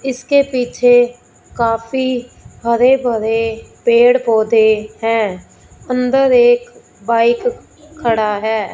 इसके पीछे काफी हरे भरे पेड़ पौधे हैं अंदर एक बाइक खड़ा है।